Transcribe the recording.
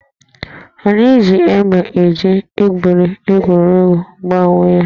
Anyị ji égbè e ji egwuri egwuregwu gbaa onwe anyị